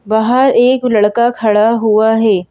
बाहर एक लड़का खड़ा हुआ है।